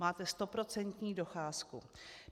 Máte stoprocentní docházku.